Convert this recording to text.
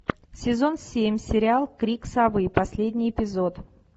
сезон семь сериал крик совы последний эпизод